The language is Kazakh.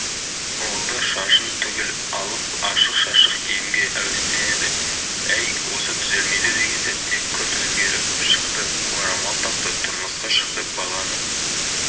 ол да шашын түгел алып ашық-шашық киімге әуестенді әй осы түзелмейді деген сәтте күрт өзгеріп шықты орамал тақты тұрмысқа шықты баланы